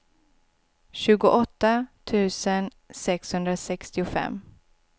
tjugoåtta tusen sexhundrasextiofem